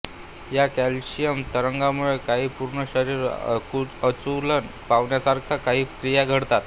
या कॅल्शियम तरंगामुळे काहीं पूर्ण शरीर आकुंचन पावण्यासारख्या काहीं क्रिया घडतात